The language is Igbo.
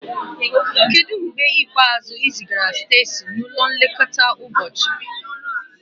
Kedu mgbe ikpeazụ ị zigara Stacy n'ụlọ nlekọta ụbọchị?